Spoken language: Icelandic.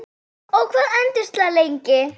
Og hvað entist það lengi?